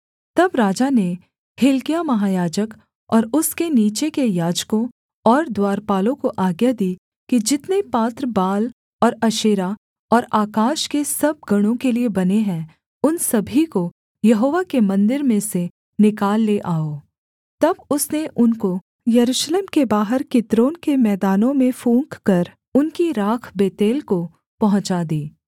तब राजा ने हिल्किय्याह महायाजक और उसके नीचे के याजकों और द्वारपालों को आज्ञा दी कि जितने पात्र बाल और अशेरा और आकाश के सब गणों के लिये बने हैं उन सभी को यहोवा के मन्दिर में से निकाल ले आओ तब उसने उनको यरूशलेम के बाहर किद्रोन के मैदानों में फूँककर उनकी राख बेतेल को पहुँचा दी